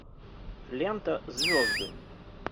лента звезды